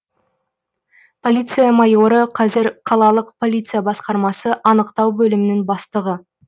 полиция майоры қазір қалалық полиция басқармасы анықтау бөлімінің бастығы